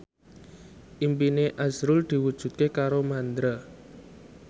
impine azrul diwujudke karo Mandra